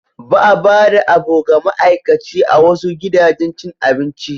Ba a bada a bu ga ama'aikaci a wasu gidajen cin abinci.